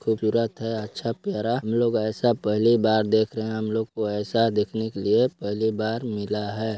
खूबसूरत है अच्छा प्यारा हम लोग ऐसा पहली बार देख रहे है हम लोग को ऐसा देखने के लिए पहली बार मिला है।